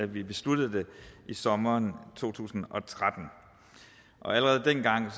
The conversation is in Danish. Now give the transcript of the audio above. vi besluttede det i sommeren to tusind og tretten allerede dengang var